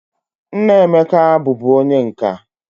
Nna Emeka bu bu onye nka.